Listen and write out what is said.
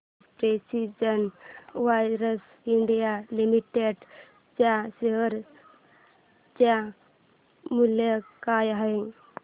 आज precision wires India limited च्या share चे मूल्य काय आहे